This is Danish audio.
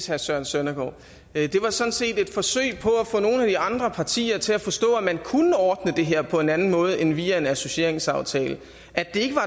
herre søren søndergaard det var sådan set et forsøg på at få nogle af de andre partier til at forstå at man kunne ordne det her på en anden måde end via en associeringsaftale at det ikke var